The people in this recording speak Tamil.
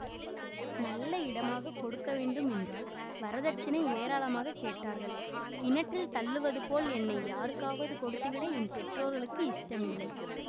நல்ல இடமாக கொடுக்க வேண்டுமென்றால் வரதட்சிணை ஏராளமாக கேட்டார்கள் கிணற்றில் தள்ளுவது போல் என்னை யாருக்காவது கொடுத்துவிட என் பெற்றோர்களுக்கு இஷ்டமில்லை